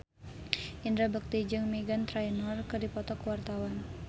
Indra Bekti jeung Meghan Trainor keur dipoto ku wartawan